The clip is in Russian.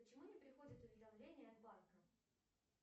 почему не приходит уведомление от банка